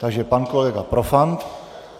Takže pak kolega Profant.